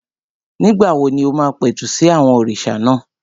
Nígbà wo ni o máa pẹ̀tù sí àwọn òrìṣà náà?